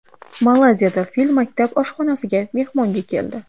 Malayziyada fil maktab oshxonasiga mehmonga keldi .